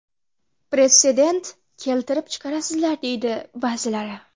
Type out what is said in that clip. Pretsedent keltirib chiqarasizlar”, deydi ba’zilari.